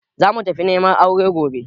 Za mu tafi neman aure gobe